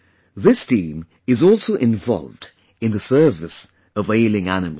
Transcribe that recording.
This team is also involved in the service ofailing animals